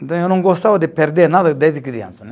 Então, eu não gostava de perder nada desde criança, né?